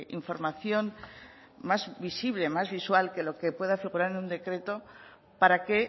información más visible más visual que lo que pueda figurar en un decreto para que